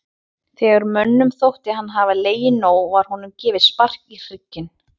Þegar mönnum þótti hann hafa legið nóg var honum gefið spark í hrygginn.